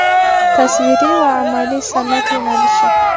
Tasviriy va amaliy san’at yo‘nalishi.